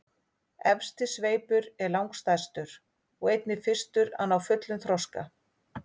Efsti sveipur er langstærstur og einnig fyrstur að ná fullum þroska.